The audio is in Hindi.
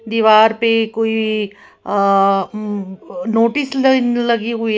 दीवार पे कोई अह नोटिस लाइन लगी हुई है।